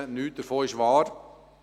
Nichts davon ist wahr.